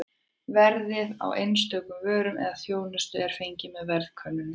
Verðið á einstökum vörum eða þjónustu er fengið með verðkönnunum.